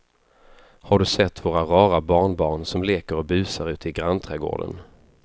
Har du sett våra rara barnbarn som leker och busar ute i grannträdgården!